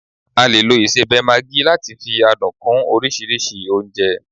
A lè lo isebe Maggi láti fi adùn kún oríṣiríṣi oúnjẹ